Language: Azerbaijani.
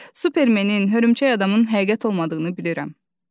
Supermenin, Hörümçək-adamın həqiqət olmadığını bilirəm.